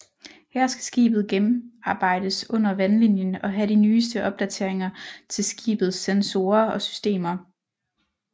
Her skal skibet gennemarbejdes under vandlinjen og have de nyeste opdateringer til skibets sensorer og systemer